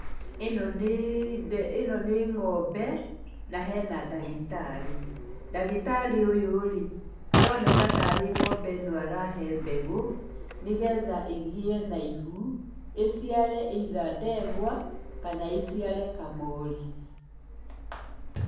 Ĩno nĩ ng'ombe na hena ndagĩtarĩ. Ndagĩtarĩ ũyũ-rĩ, aroneka ta ng'ombe arahe mbegũ, nĩgetha ĩgĩe na ihu ĩciare either ndegwa kana ĩciare kamori.